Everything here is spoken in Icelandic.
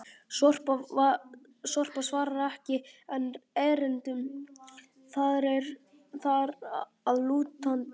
Sorpa svarar ekki enn erindum þar að lútandi!